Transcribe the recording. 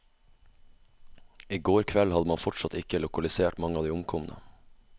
I går kveld hadde man fortsatt ikke lokalisert mange av de omkomne.